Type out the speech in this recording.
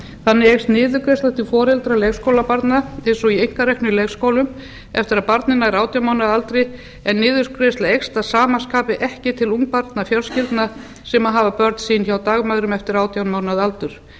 þannig eykst niðurgreiðsla til foreldra leikskólabarna eins og í einkareknum leikskólum eftir að barnið nær átján mánaða aldri en niðurgreiðsla eykst að sama skapi ekki til ungbarnafjölskyldna sem hafa börn sín hjá dagmæðrum eftir átján mánaða aldur